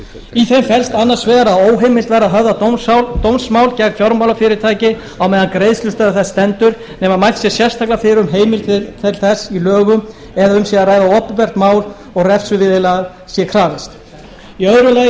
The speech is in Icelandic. í þeim felst annars vegar að óheimilt verði að höfða dómsmál gegn fjármálafyrirtæki meðan á greiðslustöðvun þess stendur nema mælt sé sérstaklega fyrir um heimild til þess í lögum eða um sé að ræða opinbert mál og refsiviðurlaga sé krafist í öðru lagi er lagt